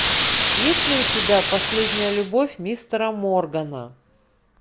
есть ли у тебя последняя любовь мистера моргана